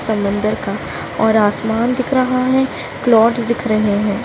समंदर का और आसमान दिख रहा है क्लोद्स दिख रहे हैं।